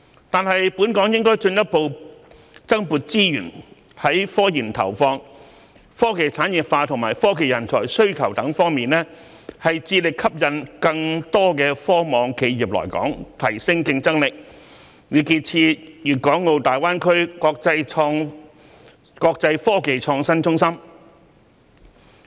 但是，本港應進一步增撥資源於科研投放、科技產業化及科技人才需求等各方面，致力吸引更多科網企業來港，提升競爭力，以建設粵港澳大灣區國際科技創新中心。